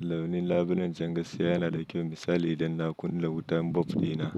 Launin labulen can gaskiya yana da kyau misali udan na kunna wutan bolbs dina.